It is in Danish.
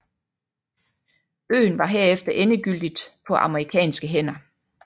Øen var herefter endegyldigt på amerikanske hænder